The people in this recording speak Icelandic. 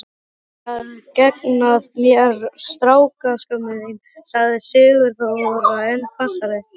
Ætlarðu að gegna mér, strákskömmin þín? sagði Sigþóra enn hvassari.